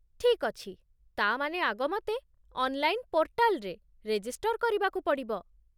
ଠିକ୍ ଅଛି! ତା' ମାନେ ଆଗ, ମତେ ଅନ୍‌ଲାଇନ୍ ପୋର୍ଟାଲ୍‌ରେ ରେଜିଷ୍ଟର୍ କରିବାକୁ ପଡ଼ିବ ।